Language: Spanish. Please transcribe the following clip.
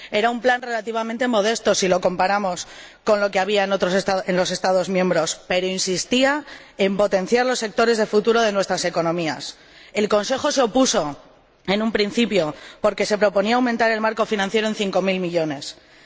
Era un plan relativamente modesto si lo comparamos con lo que había en los Estados miembros, pero insistía en potenciar los sectores de futuro de nuestras economías. El Consejo se opuso en un principio porque se proponía aumentar el marco financiero en cinco mil millones de euros.